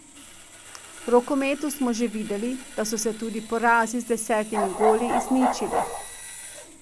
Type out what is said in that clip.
V rokometu smo že videli, da so se tudi porazi z desetimi goli izničili.